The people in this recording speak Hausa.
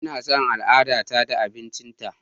Ina son al'adata da abincinta.